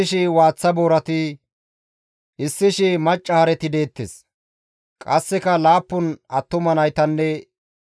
Qasseka laappun attuma naytanne heedzdzu macca nayta zaari yelides.